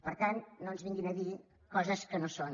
per tant no ens vinguin a dir coses que no són